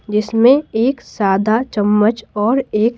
जिसमें एक सादा चम्मच और एक--